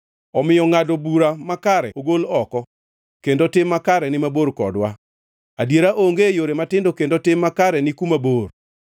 Omiyo ngʼado bura makare ogol oko kendo tim makare ni mabor kodwa, adiera onge e yore matindo kendo tim makare ni kuma bor.